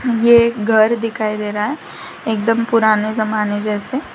ये एक घर दिखाई दे रहा है एकदम पुराने जमाने जैसे।